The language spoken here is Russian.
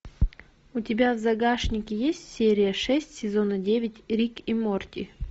у тебя в загашнике есть серия шесть сезона девять рик и морти